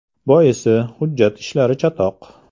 Boisi, hujjat ishlari chatoq.